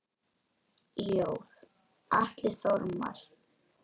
Ljóð: Atli Þormar